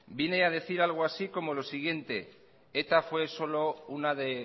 viene a decir algo así como lo siguiente eta fue solo una de